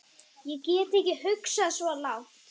Ég get ekki hugsað svo langt.